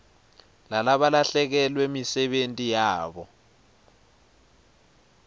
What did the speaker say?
lalabalahlekelwe yimisebenti yabo